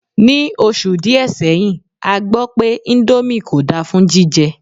Ní oṣù díè seyin a gbọ́ pé índómì kò dá fún jíjẹ